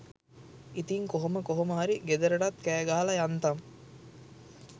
ඉතිං කොහොම කොහොම හරි ගෙදරටත් කෑ ගහලා යන්තම්